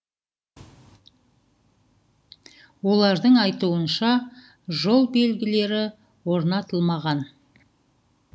олардың айтуынша жол белгілері орнатылмаған